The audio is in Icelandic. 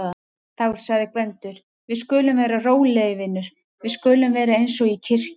Þá sagði Gvendur: Við skulum vera rólegir vinur, við skulum vera eins og í kirkju.